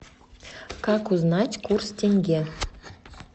как узнать курс тенге